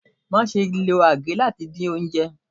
Máa ṣe lo agè láti dín oúnjẹ.